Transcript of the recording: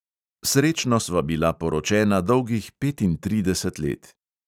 Srečno sva bila poročena dolgih petintrideset let.